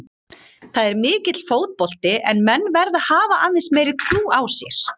Það er mikill fótbolti en menn verða að hafa aðeins meiri trú á sér.